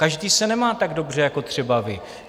Každý se nemá tak dobře jako třeba vy.